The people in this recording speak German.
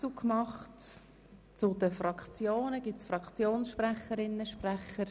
Gibt es weitere Fraktionssprechende?